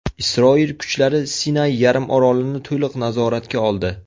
Isroil kuchlari Sinay yarimorolini to‘liq nazoratga oldi.